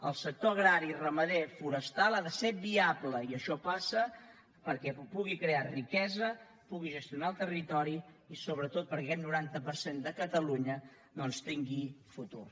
els sectors agrari ramader forestal han de ser viables i això passa perquè puguin crear riquesa puguin gestionar el territori i sobretot perquè aquest noranta per cent de catalunya doncs tingui futur